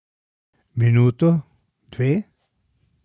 Minuto, dve?